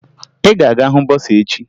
Ị ga-aga hụ bọsaa echi!